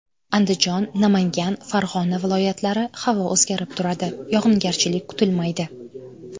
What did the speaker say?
Andijon, Namangan, Farg‘ona viloyatlari Havo o‘zgarib turadi, yog‘ingarchilik kutilmaydi.